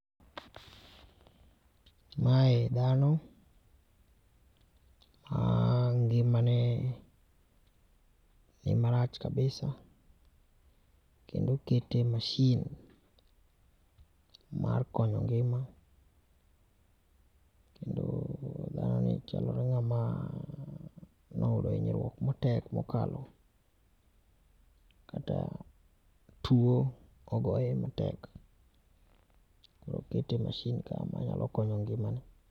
Mae dhano ma ngimane ni marach kabisa, kendo okete e machine mar konyo ngima kendo dhanoni chalo ng'ama ne oyudo hinyruok matek mokalo kata tuo ogoye matek, koro okete e machine manyalo konyo ngimane